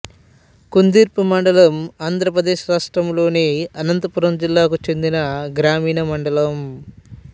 కుందుర్పి మండలం ఆంధ్ర ప్రదేశ్ రాష్ట్రంలోని అనంతపురం జిల్లాకు చెందిన గ్రామీణ మండలం